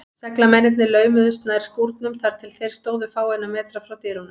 Seglamennirnir laumuðust nær skúrnum, þar til þeir stóðu fáeina metra frá dyrunum.